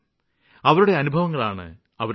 അവരുടെ അനുഭവങ്ങളാണ് അവരുടെ ശക്തി